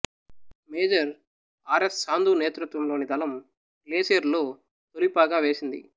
major R S Sandhu నేతృత్వంలోని దళం గ్లేసియరులో తొలి పాగా వేసింది